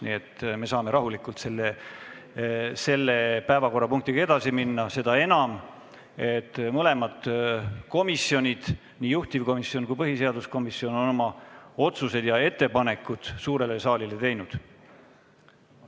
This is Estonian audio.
Nii et me saame rahulikult selle päevakorrapunktiga edasi minna, seda enam, et mõlemad komisjonid – nii juhtivkomisjon kui ka põhiseaduskomisjon – on oma otsused ja ettepanekud suurele saalile juba teinud.